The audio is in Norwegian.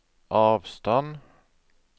avstand